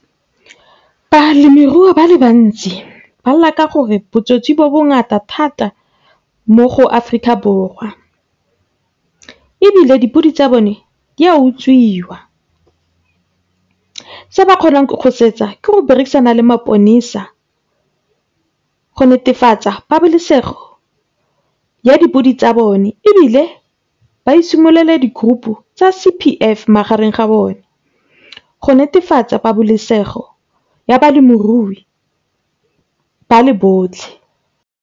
Balemirui ba le bantsi ba lla ka gore botsotsi bo bongata thata mo go Aforika Borwa. Ebile di podi tsa bone di a utswiwa, se ba kgonang go se etsa ke berekisana le go netefatsa pabalesego ya dipodi tsa bone. Ebile ba itshimolele di group tsa C_P_F magareng ga bona go netefatsa pabalesego ya balemirui ba le botlhe.